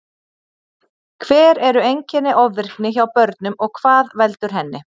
Hver eru einkenni ofvirkni hjá börnum og hvað veldur henni?